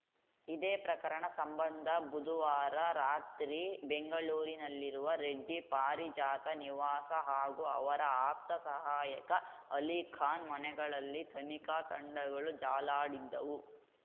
ಇದೇ ಪ್ರಕರಣ ಸಂಬಂಧ ಬುಧುವಾರ ರಾತ್ರಿ ಬೆಂಗಳೂರಿನಲ್ಲಿರುವ ರೆಡ್ಡಿ ಪಾರಿಜಾತ ನಿವಾಸ ಹಾಗೂ ಅವರ ಆಪ್ತ ಸಹಾಯಕ ಅಲಿಖಾನ್‌ ಮನೆಗಳಲ್ಲಿ ತನಿಖಾ ತಂಡಗಳು ಜಾಲಾಡಿದ್ದವು